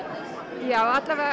já